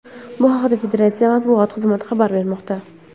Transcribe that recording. Bu haqda federatsiya matbuot xizmati xabar bermoqda .